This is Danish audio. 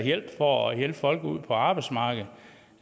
for at hjælpe folk ud på arbejdsmarkedet